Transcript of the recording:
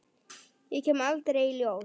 Ég kem aldrei í ljós.